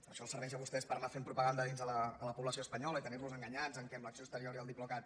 això els serveix a vostès per anar fent propaganda a la població espanyola i tenir los enganyats que l’acció exterior i el diplocat